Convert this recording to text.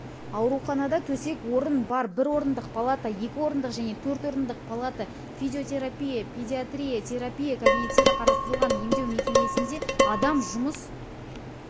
ауруханада төсек-орын бар бір орындық палата екі орындық және төрт орындық палата физиотерапия педиатрия терапия кабинеттері қарастырылған емдеу мекемесінде адам жұмыс